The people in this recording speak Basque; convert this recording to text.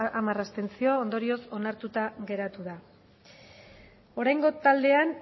hamar abstentzio ondorioz onartuta geratu da oraingo taldean